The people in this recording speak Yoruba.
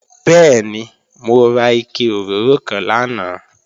Bẹ́ẹ̀ni, mo ra ike òróró kan lánàá